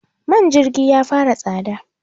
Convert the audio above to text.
man jirgi ya fara tsada